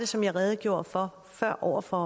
som jeg redegjorde for før over for